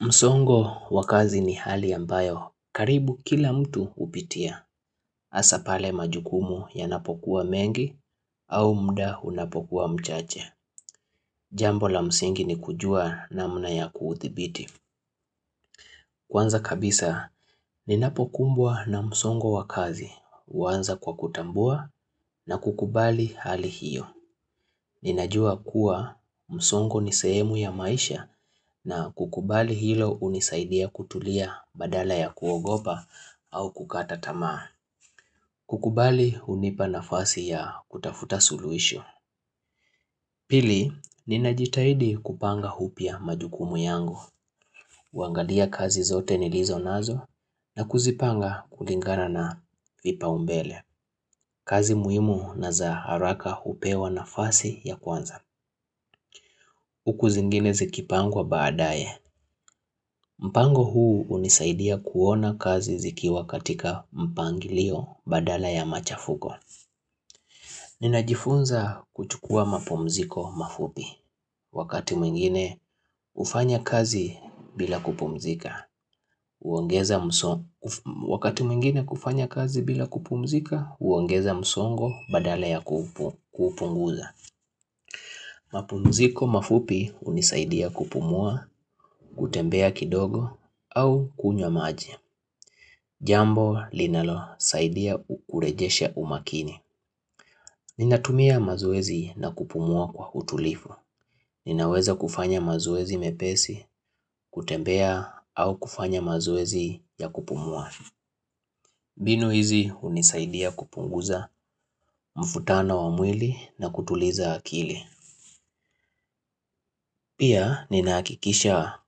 Msongo wa kazi ni hali ambayo, karibu kila mtu hupitia, hasa pale majukumu yanapokuwa mengi au mda unapokuwa mchache. Jambo la msingi ni kujua namna ya kuthibiti. Kwanza kabisa, ninapokumbwa na msongo wa kazi, huanza kwa kutambua na kukubali hali hiyo. Ninajua kuwa msongo ni sehemu ya maisha na kukubali hilo unisaidia kutulia badala ya kuogopa au kukaa tamaa. Kukubali unipa nafasi ya kutafuta suluisho. Pili, ninajitahidi kupanga upya majukumu yangu. Uangalia kazi zote nilizo nazo na kuzipanga kulingana na vipaumbele. Kazi muhimu na za haraka hupewa nafasi ya kwanza. Huku zingine zikipangwa baadaye, mpango huu unisaidia kuona kazi zikiwa katika mpangilio badala ya machafuko Ninajifunza kuchukua mapumziko mafupi, wakati mwingine ufanya kazi bila kupumzika Wakati mwingine kufanya kazi bila kupumzika, uongeza msongo badala ya kupunguza Mapunziko mafupi unisaidia kupumua, kutembea kidogo au kunywa maji. Jambo linalosaidia ukurejeshe umakini. Ninatumia mazoezi na kupumua kwa utulifu. Ninaweza kufanya mazoezi mepesi, kutembea au kufanya mazoezi ya kupumua. Mbinu hizi unisaidia kupunguza mfutano wa mwili na kutuliza akili. Pia nina hakikisha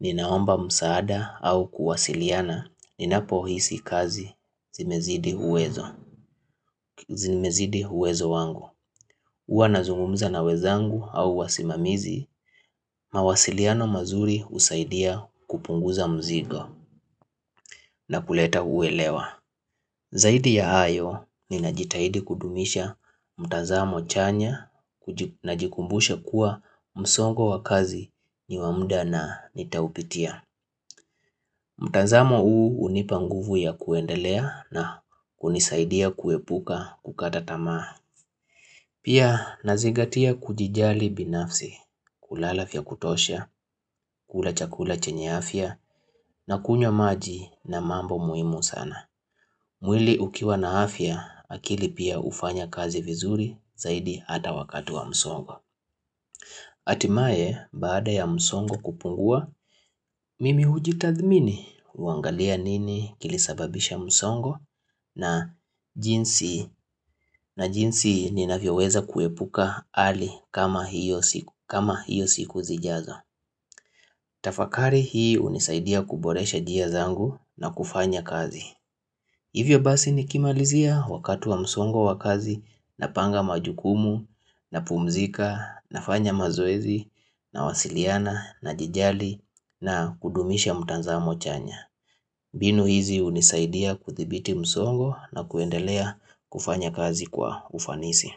ninaomba msaada au kuwasiliana ninapohisi kazi zimezidi uwezo zimezidi uwezo wangu. Uwa nazungumza na wezangu au wasimamizi mawasiliano mazuri usaidia kupunguza mzigo na kuleta uelewa. Zaidi ya hayo ninajitahidi kudumisha mtazamo chanya najikumbusha kuwa msongo wa kazi ni wa muda na nitaupitia. Mtanzamo huu unipa nguvu ya kuendelea na kunisaidia kuepuka kukata tamaa. Pia nazigatia kujijali binafsi, kulala vya kutosha, kula chakula chenye afia na kunywa maji na mambo muhimu sana. Mwili ukiwa na afya akili pia ufanya kazi vizuri zaidi ata wakatu wa msongo. Hatimae baada ya msongo kupungua, mimi hujitathmini, huangalia nini kilisababisha msongo na jinsi ninavyoweza kuepuka ali kama hiyo siku zijazo. Tafakari hii unisaidia kuboresha njia zangu na kufanya kazi. Hivyo basi nikimalizia wakati wa msongo wa kazi napanga majukumu na pumzika nafanya mazoezi nawasiliana najijali na kudumisha mtanzamo chanya. Mbinu hizi unisaidia kuthibiti msongo na kuendelea kufanya kazi kwa ufanisi.